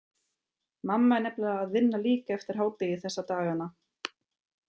Mamma er nefnilega að vinna líka eftir hádegi þessa dagana.